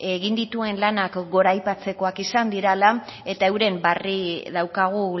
egin dituen lanak goraipatzekoak izan dirala eta euren barri daukagu